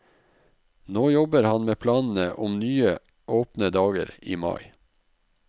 Nå jobber han med planene om nye åpne dager i mai.